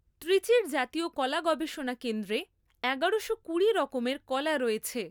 ত্রিচির জাতীয় কলা গবেষণা কেন্দ্রে এগারোশো কুড়ি রকমের কলা রয়েছে!